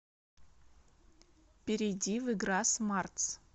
перейди в игра смартс